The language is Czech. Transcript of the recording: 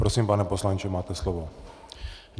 Prosím, pane poslanče, máte slovo.